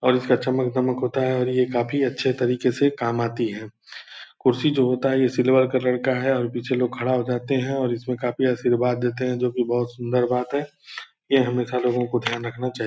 और इसका चमक-दमक होता है और ये काफी अच्छे तरीके से काम आती है कुर्सी को होता है ये सिल्वर कलर का है और पीछे लोग खड़ा हो जाते है और इसमें काफी आशीर्वाद देते है जो की बहुत सुन्दर बात है ये हमेशा लोगों को ध्यान रखना चाहिए ।